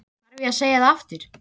Þarf ég að segja það aftur?